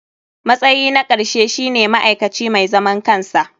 Matsayi na ƙarshe shine ma'aikaci mai zaman kansa.